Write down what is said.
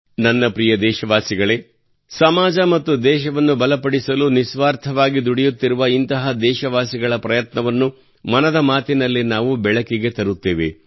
ನನ್ನ ಪ್ರಿಯ ದೇಶವಾಸಿಗಳೇ ಸಮಾಜ ಮತ್ತು ದೇಶವನ್ನು ಬಲಪಡಿಸಲು ನಿಸ್ವಾರ್ಥವಾಗಿ ದುಡಿಯುತ್ತಿರುವ ಇಂತಹ ದೇಶವಾಸಿಗಳ ಪ್ರಯತ್ನಗಳನ್ನು ಮನದ ಮಾತಿನಲ್ಲಿ ನಾವು ಬೆಳಕಿಗೆ ತರುತ್ತೇವೆ